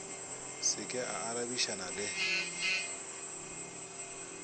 se ke a arabišana le